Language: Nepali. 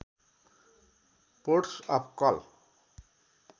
ports of call